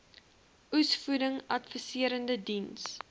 oesvoeding adviserende diens